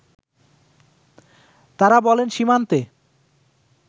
তারা বলেন সীমান্তে